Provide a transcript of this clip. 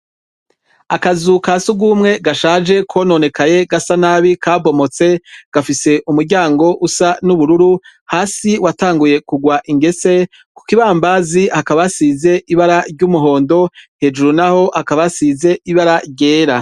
Akazu kasugumwe gashaje kononekaye gasa nabi kabomotse gafise umuryango usa n' ubururu hasi watanguye kugwa ingese kukibambazi hakaba hasize ibara ry'umuhondo hejuru naho hakaba hasize ibara ryera.